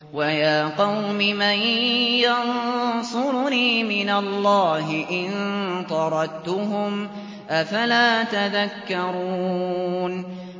وَيَا قَوْمِ مَن يَنصُرُنِي مِنَ اللَّهِ إِن طَرَدتُّهُمْ ۚ أَفَلَا تَذَكَّرُونَ